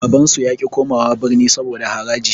Babansu yaƙi komawa birni saboda haraji.